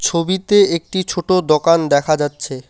ছবিতে একটি ছোট দোকান দেখা যাচ্ছে।